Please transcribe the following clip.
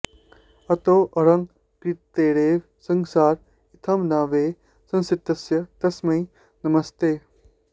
अतोऽहङ्कृतेरेव संसार इत्थं न वै संसृतिर्यस्य तस्मै नमस्ते